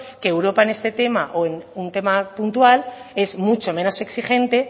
que europa en este tema o en un tema puntual es mucho menos exigente